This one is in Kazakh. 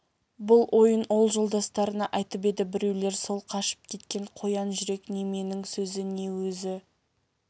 бұл ойын ол жолдастарына айтып еді біреулер сол қашып кеткен қоян жүрек неменің сөзі не өзі